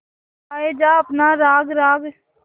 गाये जा अपना राग राग